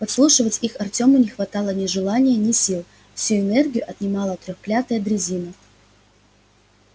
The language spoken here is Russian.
подслушивать их артему не хватало ни желания ни сил всю энергию отнимала треклятая дрезина